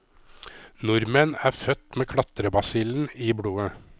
Nordmenn er født med klatrebasillen i blodet.